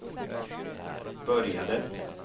började